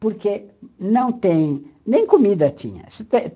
Porque não tem, nem comida tinha.